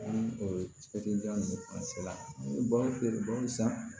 Ni ninnu ni baganw feere bamuso